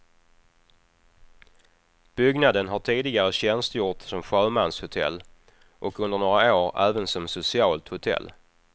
Byggnaden har tidigare tjänstgjort som sjömanshotell och under några år även som socialt hotell.